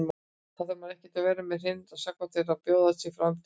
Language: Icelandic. Þarf maður ekki að vera með hreint sakavottorð til að bjóða sig fram til forseta?